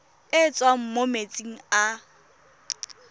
e tswang mo metsing a